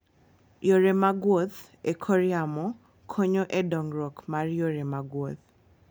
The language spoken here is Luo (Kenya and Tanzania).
Yore mag wuoth e kor yamo konyo e dongruok mar yore mag wuoth.